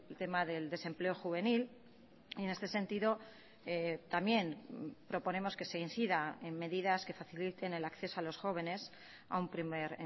tema del desempleo juvenil en este sentido también proponemos que se incida en medidas que faciliten el acceso a los jóvenes a un primer